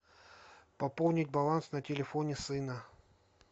пополнить баланс на телефоне сына